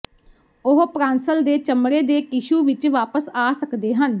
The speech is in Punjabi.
ਉਹ ਪ੍ਰਾਂਸਲ ਦੇ ਚਮੜੇ ਦੇ ਟਿਸ਼ੂ ਵਿੱਚ ਵਾਪਸ ਆ ਸਕਦੇ ਹਨ